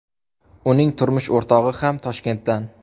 Uning turmush o‘rtog‘i ham Toshkentdan.